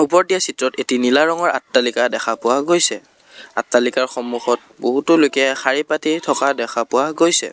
ওপৰত দিয়া চিত্ৰত এটি নীলা ৰঙৰ আট্টালিকা দেখা পোৱা গৈছে আট্টালিকাৰ সম্মুখত বহুতো লোকে শাৰী পাতি থকা দেখা পোৱা গৈছে।